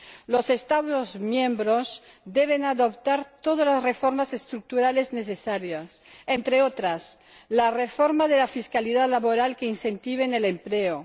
Los Estados miembros deben adoptar todas las reformas estructurales necesarias, entre otras la reforma de la fiscalidad laboral, que incentive el empleo